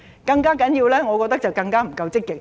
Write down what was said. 更重要的是，我覺得政府不夠積極。